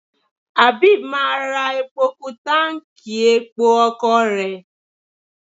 Abeeb máa ra epo kú táǹkì epo ọkọ̀ rẹ̀.